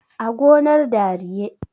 a gonar dariye